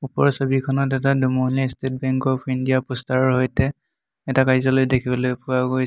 ওপৰৰ ছবিখনত এটা দুমহলীয়া ষ্টেট বেংক অফ ইণ্ডিয়া প'ষ্টাৰৰ সৈতে এটা কাৰ্য্যালয় দেখিবলৈ পোৱা গৈছ--